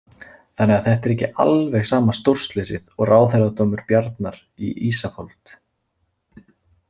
Þannig að þetta er ekki alveg sama stórslysið og ráðherradómur Bjarnar í Ísafold.